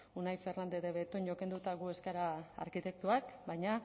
unai fernandez de betoño kenduta gu ez gara arkitektoak baina